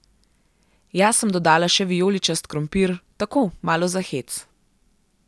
Jaz sem dodala še vijoličast krompir, tako malo za hec.